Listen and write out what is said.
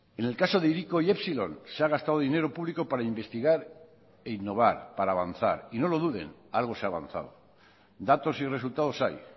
en el caso de hiriko y epsilon se ha gastado dinero público para investigar e innovar para avanzar y no lo duden algo se ha avanzado datos y resultados hay